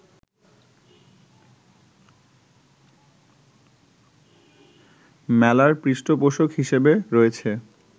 মেলার পৃষ্ঠপোষক হিসেবে রয়েছে